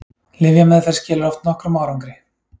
Lyfjameðferð skilar oft nokkrum árangri.